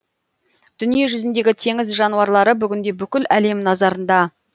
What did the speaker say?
дүниежүзіндегі теңіз жануарлары бүгінде бүкіл әлем назарында